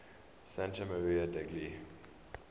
santa maria degli